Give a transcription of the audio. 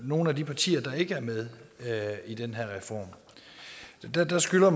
nogle af de partier der ikke er med i den her reform der skylder